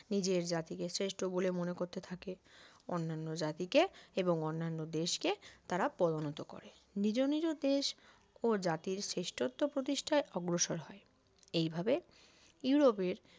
নিজের জাতিকে শ্রেষ্ঠ বলে মনে করতে থাকে অন্যান্য জাতিকে এবং অন্যান্য দেশকে তারা পরিণত করে নিজে নিজে দেশ ও জাতির শ্রেষ্ঠত্ব প্রতিষ্ঠায় অগ্রসর হয় এইভাবে ইউরোপের